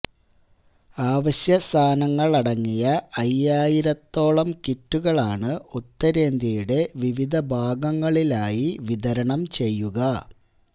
ആവശ്യ സാധനങ്ങളടങ്ങിയ അയ്യായിരത്തോളം കിറ്റുകളാണ് ഉത്തരേന്ത്യയുടെ വിവിധ ഭാഗങ്ങളിലായി വിതരണം ചെയ്യുക